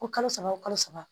Ko kalo saba o kalo saba